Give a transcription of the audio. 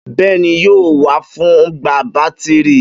Bẹ́ẹ́ni, yóò wà fún gba bátírí.